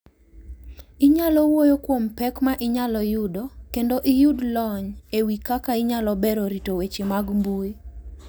Inyalo wuoyo kuom pek ma inyalo yudo kendo iyud lony e wi kaka inyalo bero rito weche mag mbui.